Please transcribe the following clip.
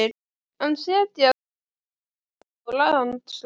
en setja þó enn svip á landslag.